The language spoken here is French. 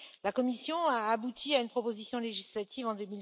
La Commission a abouti à une proposition législative en